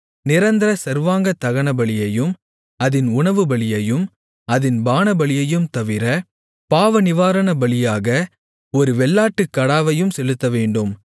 நிரந்தர சர்வாங்க தகனபலியையும் அதின் உணவுபலியையும் அதின் பானபலியையும் தவிர பாவநிவாரணபலியாக ஒரு வெள்ளாட்டுக்கடாவையும் செலுத்தவேண்டும்